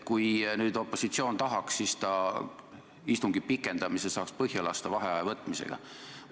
Kui keegi tahaks, siis ta saaks istungi pikendamise vaheaja võtmisega põhja lasta.